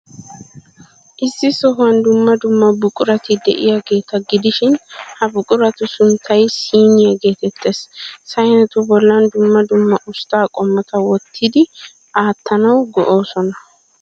Issi sohuwan dumma dumma buqurati de'iyaageeta gidishin, ha buquratu sunttay syniyaa geetettees. Saynetu bollan dumma dumma ustta qumata wottidi aattanawu go''oosona.